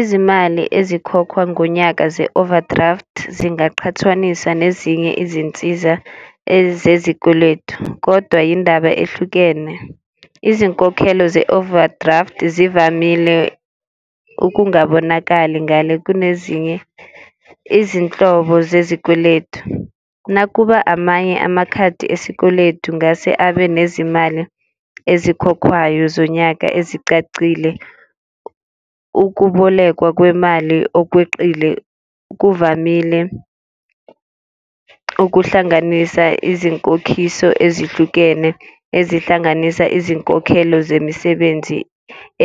Izimali ezikhokhwa ngonyaka ze-overdraft zingaqhathaniswa nezinye izinsiza ezezikweletu, kodwa yindaba ehlukene. Izinkokhelo ze-overdraft zivamile ukungabonakali ngale kunezinye izinhlobo zezikweletu. Nakuba amanye amakhadi esikweletu ngase abe nezimali ezikhokhwayo zonyaka ezicacile. Ukubolekwa kwemali okweqile kuvamile ukuhlanganisa izinkokhiso ezihlukene ezihlanganisa izinkokhelo zemisebenzi